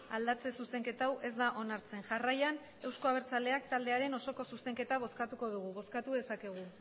aldatze zuzenketa hau ez da onartzen jarraian euzko abertzaleak taldearen osoko zuzenketa bozkatuko dugu bozkatu dezakegu